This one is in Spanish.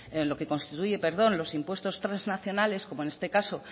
en lo que constituye los impuestos transnacionales como en este caso